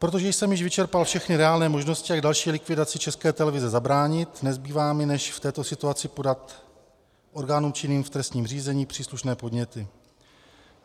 Protože jsem již vyčerpal všechny reálné možnosti, jak další likvidaci České televize zabránit, nezbývá mi, než v této situaci podat orgánům činným v trestním řízení příslušné podněty.